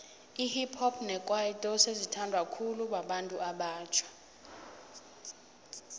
ihip hop nekwaito sezi thandwa khulu babantu abatjha